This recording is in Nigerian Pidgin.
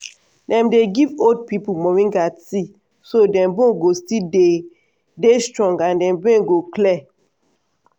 dem dey give old pipo moringa tea so dem bone go still dey dey strong and dem brain go clear.